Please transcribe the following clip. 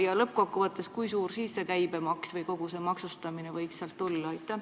Ja lõpuks: kui suur see käibemaks või kogu see maksustamine võiks siis olla?